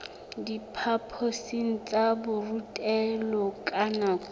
diphaphosing tsa borutelo ka nako